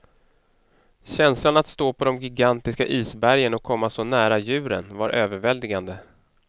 Känslan att stå på de gigantiska isbergen och komma så nära djuren var överväldigande.